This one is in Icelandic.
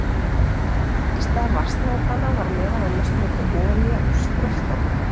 Í stað vatnasnákanna var meðal annars notuð olía úr skröltormum.